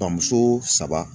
Bamuso saba